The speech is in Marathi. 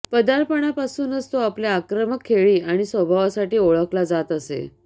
पदार्पणापासूनच तो आपल्या आक्रमक खेळी आणि स्वभावासाठी ओळखला जात असे